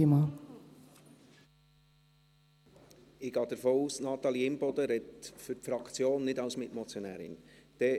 Ich gehe davon aus, dass Natalie Imboden für die Fraktion und nicht als Mitmotionärin spricht.